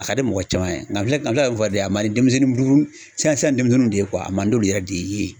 A ka di mɔgɔ caman ye nga n filɛ nga n filɛ ka min fɔ de a ma di denmisɛnnin buru buru siyan siyan denmisɛnnunw de ye kuwa a man d'olu yɛrɛ de ye